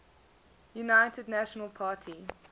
united national party